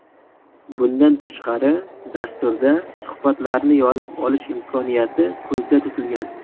Bundan tashqari, dasturda suhbatlarni yozib olish imkoniyati ko‘zda tutilgan.